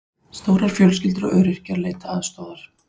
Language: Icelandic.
Stórar fjölskyldur og öryrkjar leita aðstoðar